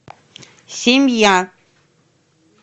семья